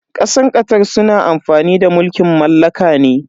Kasar Qatar suna amfani da mulkin mallaka ne.